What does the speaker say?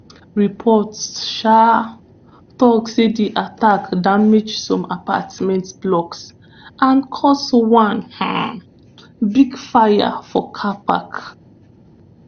reports um tok say di attack damage some apartment blocks and cause one um big fire for car park.